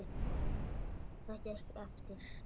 Það gekk eftir.